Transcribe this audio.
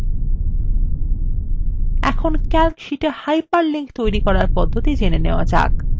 এখন calc শীটে hyperlinks তৈরি করার পদ্ধতি জানা যাক